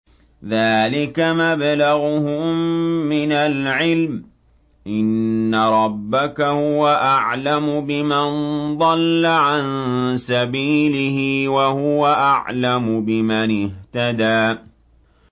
ذَٰلِكَ مَبْلَغُهُم مِّنَ الْعِلْمِ ۚ إِنَّ رَبَّكَ هُوَ أَعْلَمُ بِمَن ضَلَّ عَن سَبِيلِهِ وَهُوَ أَعْلَمُ بِمَنِ اهْتَدَىٰ